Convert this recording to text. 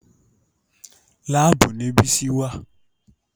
Láàbù ni Bísí wà